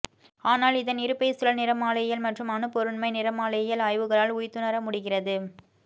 ஆனால் இதன் இருப்பைச் சுழல் நிறமாலையியல் மற்றும் அணுப்பொருண்மை நிறமாலையியல் ஆய்வுகளால் உய்த்துணரமுடிகிறது